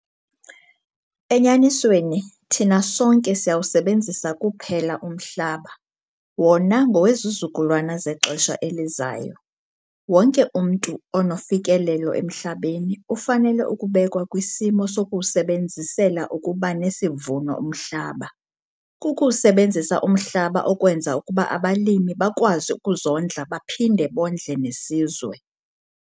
Enyanisweni, thina sonke siyawusebenzisa kuphela umhlaba - wona ngowezizukulwana zexesha elizayo. Wonke umntu onofikelelo emhlabeni ufanele ukubekwa kwisimo sokuwusebenzisela ukuba nesivuno umhlaba. Kukuwusebenzisa umhlaba okwenza ukuba abalimi bakwazi ukuzondla baphinde bondle nesizwe.